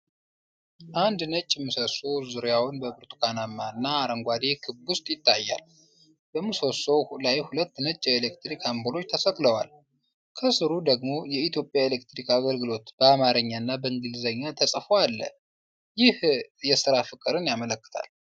አንድ ነጭ ምሰሶ ዙሪያውን በብርቱካናማ እና አረንጓዴ ክብ ውስጥ ይታያል። በምሰሶው ላይ ሁለት ነጭ የኤሌክትሪክ አምፖሎች ተሰቅለዋል። ከሥሩ ደግሞ "የኢትዮጵያ ኤሌክትሪክ አገልግሎት" በአማርኛ እና በእንግሊዝኛ ተጽፎ አለ። ይህ የስራ ፍቅርን ያመለክታል።